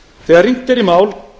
þegar rýnt er í mál